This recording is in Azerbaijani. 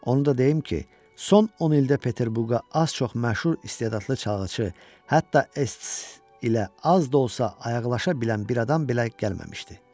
Onu da deyim ki, son 10 ildə Peterburqa az-çox məşhur istedadlı çalğıçı, hətta Ests ilə az da olsa ayaqlaşa bilən bir adam belə gəlməmişdi.